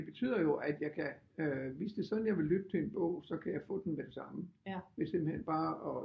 Det betyder jo at jeg kan hvis det er sådan jeg vil lytte til en bog så kan jeg få den med det samme ved simpelthen bare at